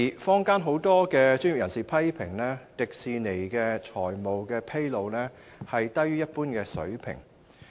坊間有很多專業人士批評，迪士尼在財務狀況披露方面，低於一般水平。